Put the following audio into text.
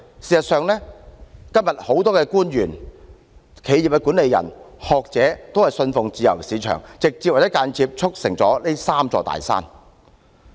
事實上，今天很多官員、企業管理人和學者均信奉自由市場，直接和間接地促成這"三座大山"。